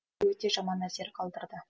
өте жаман әсер қалдырды